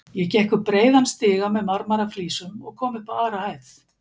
Ég gekk upp breiðan stiga með marmaraflísum og kom upp á aðra hæð.